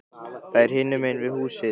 Það er hinum megin við húsið.